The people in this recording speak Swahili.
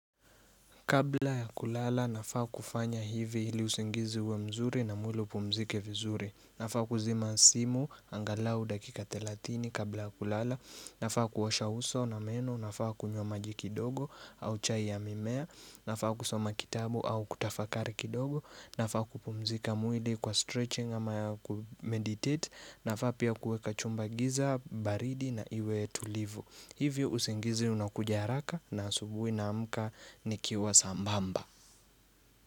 Kabla ya kulala, nafaa kufanya hivi hili usingizi uwe mzuri na mwili upumzike vizuri. Nafaa kuzima simu, angalau dakika ttelatini kabla ya kulala. Nafaa kuosha uso na meno, nafaa kunywa majikidogo au chai ya mimea. Nafaa kusoma kitabu au kutafakari kidogo. Nafaa kupumzika mwili kwa stretching ama ya kumeditate. Nafaa pia kuweka chumba giza, baridi na iwe tulivu. Hivyo usingizi unakuja haraka na asubuhi naamka ni kiwa sambamba.